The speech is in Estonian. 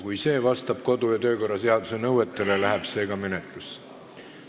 Kui see vastab kodu- ja töökorra seaduse nõuetele, läheb see ka menetlusse.